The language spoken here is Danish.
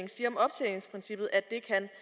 men siger